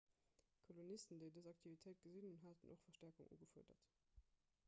d'kolonisten déi dës aktivitéit gesinn hunn haten och verstäerkung ugefuerdert